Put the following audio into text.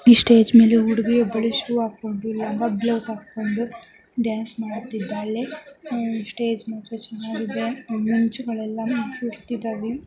E stage ಮೇಲೆ ಹುಡುಗಿ ಒಬ್ಬಳು ಇ ಸ್ಟೇಜ್ ಮೇಲೆ ಹುಡುಗಿ ಒಬ್ಬಳು ಶೂ ಅಕೊಂಡು ಲಂಗ ಬ್ಲೌಸ್ ಅಕೊಂಡು ಡ್ಯಾನ್ಸ್ ಮಾಡುತ್ತಿದ್ದಾಳೆ ಅಹ್ ಸ್ಟೇಜ್ ಮಾತ್ರ ಚನ್ನಾಗಿದೆ ಅಹ್ ಮಿಂಚ್ ಎಲ್ಲಾ ಸುರ್ದಿದವೇ.